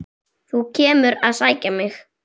Þú kemur að sækja mig.